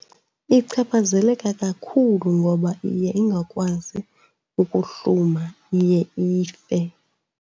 Ichaphazeleka kakhulu ngoba iye ingakwazi ukuhluma, iye ife.